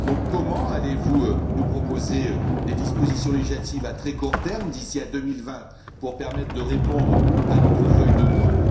Comment allez vous nous proposer des dispositions législatives à très court terme, d'ici à 2020, pour permettre de répondre à notre feuille de route?